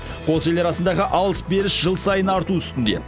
қос ел арасындағы арыс беріс жыл сайын арту үстінде